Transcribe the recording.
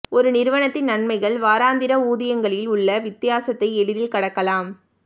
ஒரு நிறுவனத்தின் நன்மைகள் வாராந்திர ஊதியங்களில் உள்ள வித்தியாசத்தை எளிதில் கடக்கலாம்